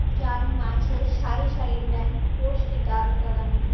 যার মাঝে সারি সারি ন্যাম্প পোস্ট দাঁড় করানো।